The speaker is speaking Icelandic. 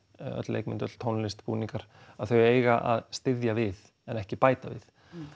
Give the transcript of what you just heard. leikmynd tónlist búningar að þau eiga að styðja við en ekki bæta við